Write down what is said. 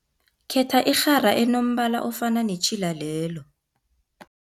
Khetha irhara enombala ofana netjhila lelo.